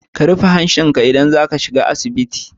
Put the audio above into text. Ka rufe hancinka idan za ka shiga asibiti.